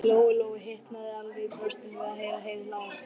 Lóu Lóu hitnaði alveg í brjóstinu við að heyra Heiðu hlæja.